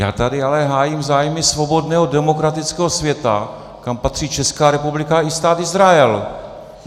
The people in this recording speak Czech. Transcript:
Já tady ale hájím zájmy svobodného demokratického světa, kam patří Česká republika i Stát Izrael.